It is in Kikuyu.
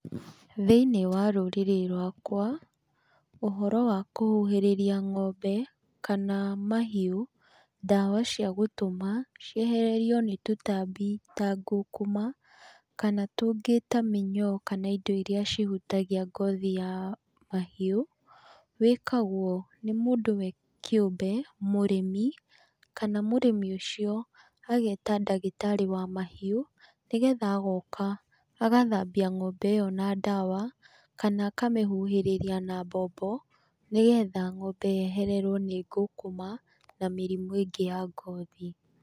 Thĩiniĩ wa rũrĩrĩ rwakwa, ũhoro wa kũhuhĩrĩria ng'ombe kana mahiũ ndawa ciagũtũma ciehererio nĩ tũtambĩ ta ngũkũma, kana tũngĩ ta mĩnyoo kana indo iria cihutagia ngothi ya mahiũ, wĩkagwo nĩ mũndũ we kĩũmbe, mũrĩmi kana mũrĩmi ũcio ageta ndagĩtarĩ wa mahiũ, nĩgetha agoka agathambia ng'ombe ĩyo na ndawa, kana akamĩhuhĩrĩria na mbombo, nĩgetha ng'ombe yehererwo nĩ ngũkũma na mĩrimũ ĩngĩ ya ngothi.